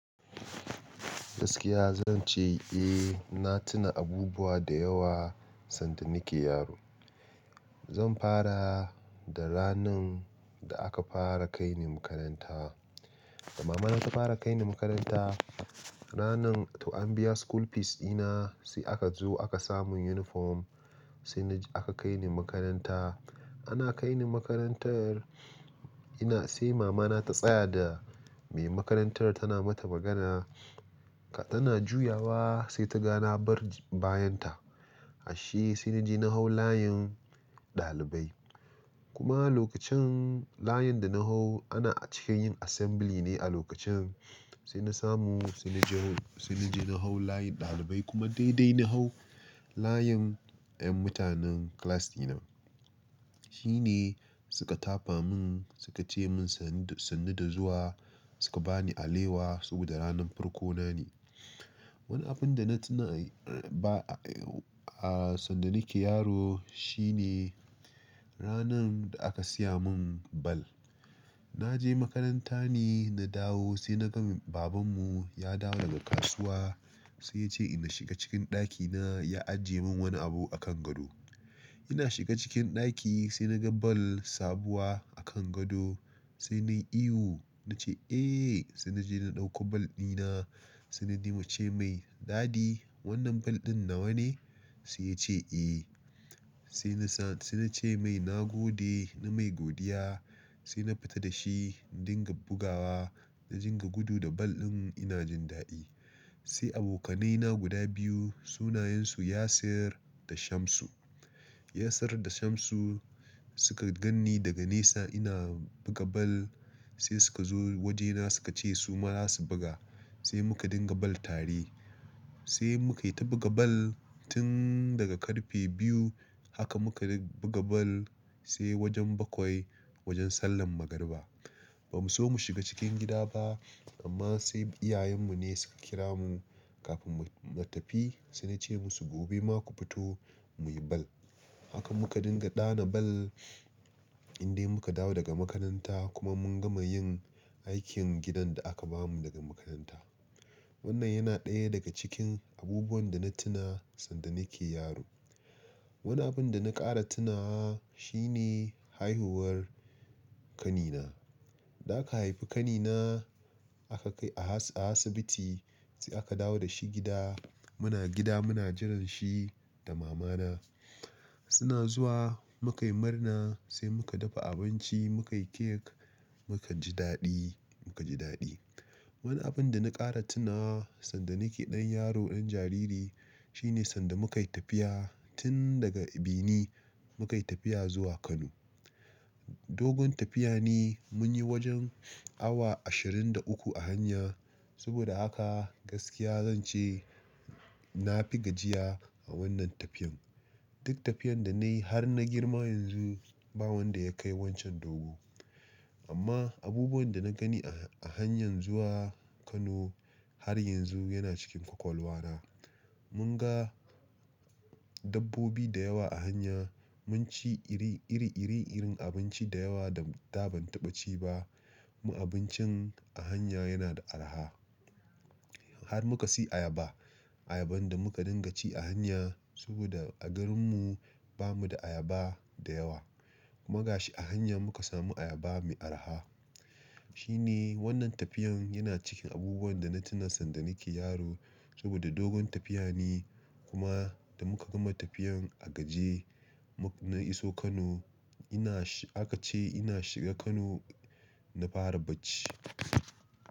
Gaskiya zan ce, eh na tuna abubuwa da yawa sanda nake yaro. Zan fara da ranar da aka fara kai ni makaranta. Da mama na ta fara kai ni makaranta, ranar to an biya school fees dina sai aka zo aka samin uniform sai aka kai ni makaranta. Ana kai ni makarantar ina sai mama na ta tsaya da mai makarantar tana mata magana tana juyawa sai ta gana na bar bayan ta. Ashe sai na je na hau layin ɗalibai. Kuma lokacin layin da na hau ana cikin yin assembly ne a lokacin sai na samu sai na je sai na je na hau layin ɗalibai kuma daidai na hau layin 'yan mutanen class dina. Shine suka tafa mun suka ce mun sannu da zuwa suka bani alewa saboda ranar farko na ne. Wani abin da na tuna, a sanda nake yaro shine ranar da aka siya mun ball. Na je makaranta ne na dawo sai na ga baban mu ya dawo daga kasuwa sai ya ce na shiga cikin ɗakina ya ajiye mun wani abu a kan gado. Ina shiga cikin ɗaki sai na ga ball sabuwa a kan gado sai na yi ihu na ce "eeh" sai na je na ɗauko ball dina sai na dinga ce mai "daddy wannan ball ɗin nawa ne?" Sai ya ce eh. Sai na sa-- sai na ce mai "na gode, na mai godiya." Sai na fita da shi na dinga bugawa na dinga gudu da ball ɗin ina jin daɗi. Sai abokanai na guda biyu sunayen su Yasir da Shamsu. Yasir da Shamsu suka ganni daga nesa ina buga ball sai suka zo waje na suka ce su ma za su buga sai muka dinga ball tare. Sai muka yi ta buga ball tun daga karfe biyu haka muka buga ball sai wajen bakwai wajen sallar magariba. Ba mu so mu shiga cikin gida ba amma sai iyayen mu ne suka kira mu kafin mu tafi sai na ce musu "gobe ma ku fito muyi ball." Haka muka dinga ɗana ball indai muka dawo daga makaranta kuma mun gama yin aikin gidan da aka bamu daga makaranta. Wannan yana ɗaya daga cikin abubuwan da na tuna sanda nake yaro. Wani abin da na ƙara tunawa shine haihuwar ƙani na. Da aka haifi ƙanina aka kai a asibiti sai aka dawo da shi gida. Muna gida muna jiran shi da mama na. Suna zuwa muka yi murna sai muka dafa abinci muka yi cake muka ji daɗi, muka ji daɗi. Wani abin da na ƙara tunawa sanda nake ɗan yaro ɗan jariri shine sanda muka yi tafiya tun daga Ebini muka yi tafiya zuwa Kano. Dogon tafiya ne mun yi wajen awa ashirin da uku a hanya. Saboda haka gaskiya zan ce na fi gajiya a wannan tafiyan. Duk tafiyan da na yi har na girma yanzu ba wanda ya kai wancan dogo. Amma abubuwan da na gani a han-a hanyar zuwa Kano har yanzu yana cikin ƙwaƙwalwa na. Mun ga dabbobi da yawa a hanya mun ci iri-irin abinci da yawa da da ban taɓa ci ba. Kuma abincin a hanya yana da araha. Har muka siyi ayaba. Ayaban da muka dinga ci a hanya saboda a garin mu bamu da ayaba da yawa. Kuma ga shi a hanya muka samu ayaba mai araha. Shine wannan tafiyan yana cikin abubuwan da na tuna sanda nake yaro saboda dogon tafiya ne kuma da muka gama tafiyan a gajiye mun iso Kano ina aka ce ina shiga Kano na fara bacci.